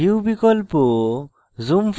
view বিকল্প